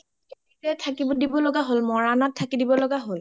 থাকি দিব লগা হ’ল মৰাণত থাকি দিব লগা হ’ল